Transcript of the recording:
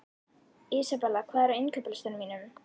Isabella, hvað er á innkaupalistanum mínum?